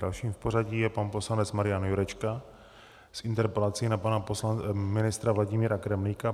Dalším v pořadí je pan poslanec Marian Jurečka s interpelací na pana ministra Vladimíra Kremlíka.